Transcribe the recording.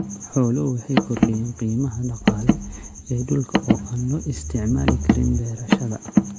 Xooluhu waxay kordhiyaan qiimaha dhaqaale ee dhulka oo aan loo isticmaali karin beerashada.